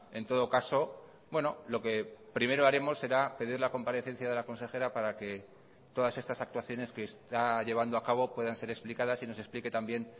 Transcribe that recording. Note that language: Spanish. en todo caso lo que primero haremos será pedir la comparecencia de la consejera para que todas estas actuaciones que está llevando a cabo puedan ser explicadas y nos explique también